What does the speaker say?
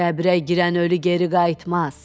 Qəbrə girən ölü geri qayıtmaz.